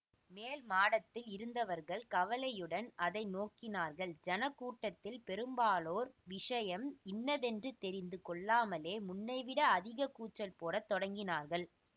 மேல் மாடத்தில் இருந்தவர்கள் கவலையுடன் அதை நோக்கினார்கள் ஜனக்கூட்டதில் பெரும்பாலோர் விஷயம் இன்னதென்று தெரிந்து கொள்ளாமலே முன்னைவிட அதிக கூச்சல் போட தொடங்கினார்கள்